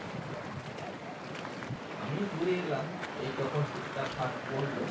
আমি ঘুরে এলাম এই যখন শীতটা first পড়লো